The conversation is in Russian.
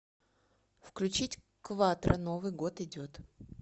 включить кватро новый год идет